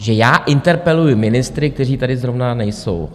Že já interpeluji ministry, kteří tady zrovna nejsou.